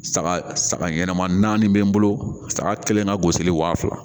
Saga saga ɲɛnɛma naani be n bolo saga kelen ka gosili wa fila